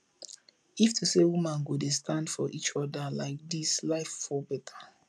if to say women go dey stand for each other like dis life for better